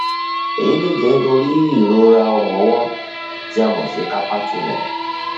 èyí lè jẹ nítorí ìrora ọrùn ọwọ tí a mọ sí carpal tunnel